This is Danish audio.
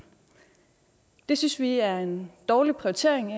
det synes vi i er en dårlig prioritering